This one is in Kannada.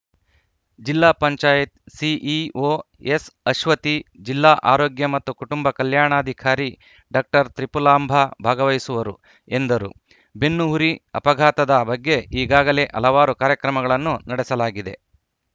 ಜಿಲ್ಲಾ ಪಂಚಾಯತ್ ಸಿಇಒ ಎಸ್‌ಅಶ್ವತಿ ಜಿಲ್ಲಾ ಆರೋಗ್ಯ ಮತ್ತು ಕುಟುಂಬ ಕಲ್ಯಾಣಾಧಿಕಾರಿ ಡಾಕ್ಟರ್ ತ್ರಿಪುಲಾಂಭ ಭಾಗವಹಿಸುವರು ಎಂದರು ಬೆನ್ನು ಹುರಿ ಅಪಘಾತದ ಬಗ್ಗೆ ಈಗಾಗಲೇ ಹಲವಾರು ಕಾರ್ಯಕ್ರಮಗಳನ್ನು ನಡೆಸಲಾಗಿದೆ